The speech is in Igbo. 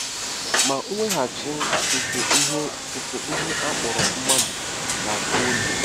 Ma mweghachi nke ihe nke ihe a kpọrọ mmadụ ga-achọ oge.